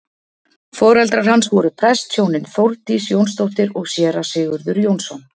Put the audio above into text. foreldrar hans voru prestshjónin þórdís jónsdóttir og séra sigurður jónsson